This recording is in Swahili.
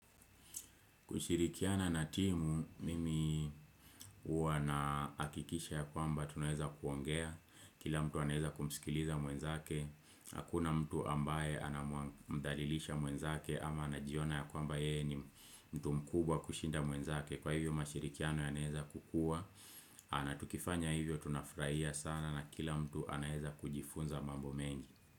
Kushirikiana na timu mimi huwa nahakikisha ya kwamba tunaeza kuongea kila mtu anaeza kumsikiliza mwenzake Hakuna mtu ambaye anamdhalilisha mwenzake ama anajiona ya kwamba yeye ni mtu mkubwa kushinda mwenzake Kwa hivyo mashirikiano yaanaeza kukua na tukifanya hivyo tunafurahia sana na kila mtu anaeza kujifunza mambo mengi.